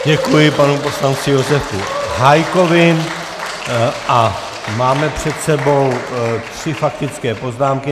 Děkuji panu poslanci Josefu Hájkovi a máme před sebou tři faktické poznámky.